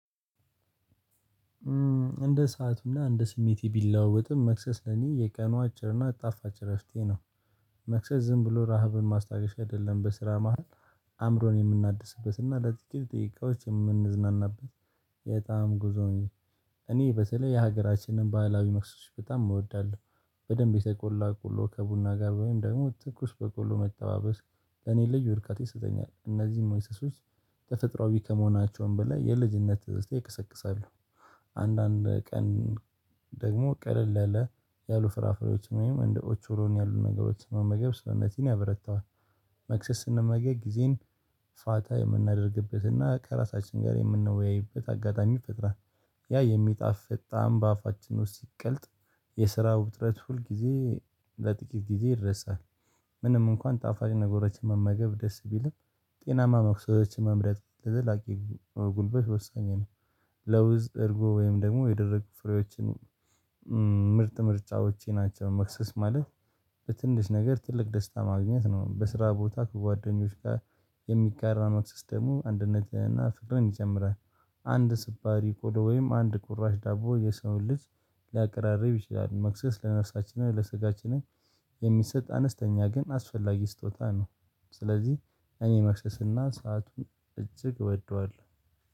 እንደ ሰአቱና እንደ ስሜቴ ቢለወጥም መክሰስ ለኔ የቀኑ አጭርና አጣፋጭ እረፍቴ ነው። መክሰስ ዝም ብሎ ረሃብን ማስታገሻ አይደለም በስራ መሃል አእምሮን የምናድስበት እና ለጥቂት ደቂቃውች የምንዝናናበት የጣም ጉዞ ነው። እኔ እኔ በሰለይ የሀገራችንን ባህላዊ መክሰሶች በጣም እወዳለሁ በደንብ የተቆላ ቆሎ ከቡና ጋር ወይም ደግሞ ትኩስ በቆሎ መተባበስ ለኔ ልጅ ወድቃት ይሰጠኛል። እነዚህም ሞይሰሶች ተፈጥሮአዊ ከመሆናቸውም በላይ የልጅነት እስቲ ይቀሰቅሳሉ። አንዳንድ ቀን ደግሞ ቀደል ያለ ያሉ ፍራፍሬዎች ወይም እንደ ኦቾሮን ያሉ ነገሮች መመገብ ሰውነቲን ያበረታዋል። መክሰስ ስንመገብ ጊዜን ፋታ የምናደርግበትና ከራሳችን ጋር የምንወያይበት አጋጣሚ ፈጥራ። ያ የሚጣፍጥ ጣዕም በአፋችን ውስጥ ሲቀልጥ የስራ ውጥረት ሁል ጊዜ ለጥቂት ጊዜ ይደርሳል። ምንም እንኳን ጣፋጭ ነገሮችን መመገብ ደስ ቢልም ጤናማ መክሰሶችን መምረጥ ለዘላቂ ጉልበሽ ወሳኝ ነው። ለውዝ እርጎ ወይም ደግሞ የደረቁ ፍሬዎችን ምርጥ ምርጫዎቼ ናቸው። መክሰስ ማለት በትንሽ ነገር ትልቅ ደስታ ማግኘት ነው። በስራ ቦታ ከጓደኞች ጋር የሚጋራነው ሲስተሙ አንድነትና ፍርን ይጀምራል። አንድ ስብራሪ ቆዶ ወይም አንድ ቁራሽ ዳቦ የሰውን ልጅ ሊያቀራርብ ይችላል። መክሰስ ለነፍሳችንና ለስጋችንን የሚሰጥ አነስተኛ ግን አስፈላጊ ስጦታ ነው። ስለዚህ እኔ መክሰስና ሰአቱን እጅግ እወደዋለሁ።